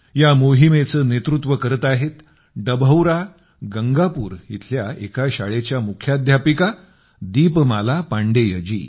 या मोहिमेचे नेतृत्व करत आहेत डभौरा गंगापूर इथल्या एका शाळेच्या मुख्याध्यापिका दीपमाला पांडेयजी